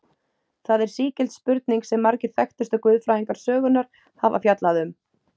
Það er sígild spurning sem margir þekktustu guðfræðingar sögunnar hafa fjallað um.